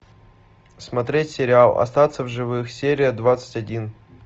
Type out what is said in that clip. смотреть сериал остаться в живых серия двадцать один